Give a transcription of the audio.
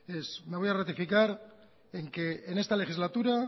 es me voy a ratificar en que en esta legislatura